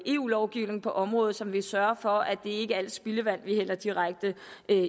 eu lovgivning på området som vil sørge for at det ikke er alt spildevand vi hælder direkte